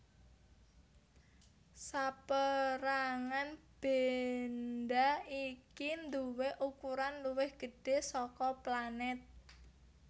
Sapérangan bendha iki nduwé ukuran luwih gedhé saka planèt